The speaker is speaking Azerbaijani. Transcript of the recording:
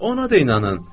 Ona da inanım?